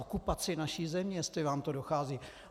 Okupaci naší země, jestli vám to dochází.